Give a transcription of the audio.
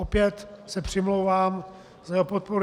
Opět se přimlouvám za jeho podporu.